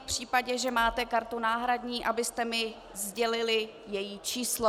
V případě, že máte kartu náhradní, abyste mi sdělili její číslo.